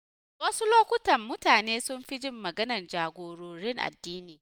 A wasu lokutan, mutane sun fi jin maganar jagororin addini.